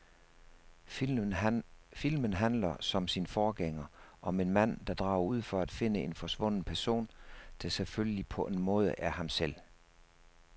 Filmen handler, som sin forgænger, om en mand, der drager ud for at finde en forsvunden person, der selvfølgelig på en måde er ham selv.